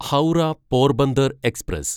Howrah Porbandar express